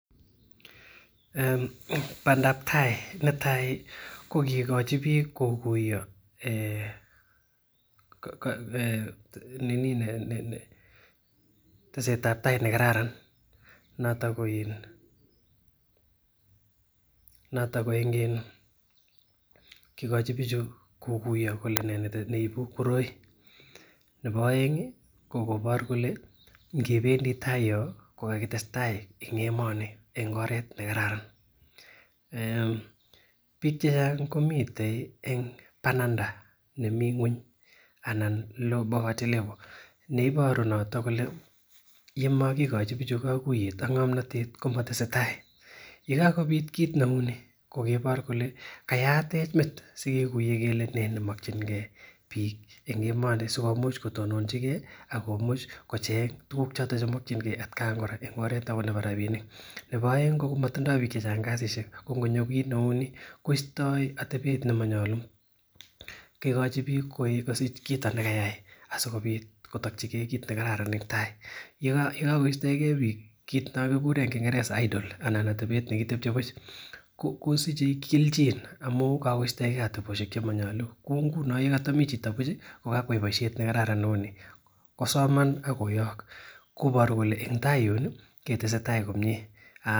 Bandab tai netai ko kikochi bik kokuyo [um]nini nekararan. Noton koin , noto koin kikochi bichu kokuyo kole nee neibu koroi nebo aeng kole ingebendi tai yoon ko kakitestai en oret nekararan bik chechang komiten en bananda nemi ngueny anan poverty level neiboru noto kole yekakobit kit neuu ni kobaru kole kit nemakienge sikomuch kotonochike Akomuch kocheng tukuk choton chemakienge en at Kai kora en oret nebo rabinik nebo aeng komatindo bik chechang kasisiek, ingonyor kit neuu ni koistaa ateben nemanyalu kikochi bik atebet asikobit kotakike kit nekararan en tai, yekakotachike bik ih , kit noon kikuren en kingereza idle kosiche kelchin amuun kakoitsaeke atebosiek chemanyalu ko ngunon yekoamii chito buch ih , kosoman ak koyak kobaru kole en tai yuun kitestai komie.